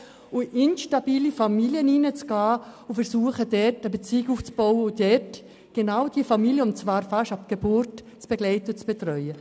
Dort werden instabile Familien aufgesucht, um zu versuchen, eine Beziehung aufzubauen und genau diese Familien fast ab Geburt zu begleiten und zu betreuen.